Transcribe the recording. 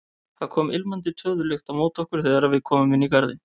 Það kom ilmandi töðulykt á móti okkur þegar við komum inn í garðinn.